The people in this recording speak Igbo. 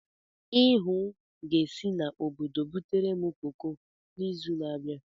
Ihuu ga-esi n'obodo butere m koko n'izu na-abịa.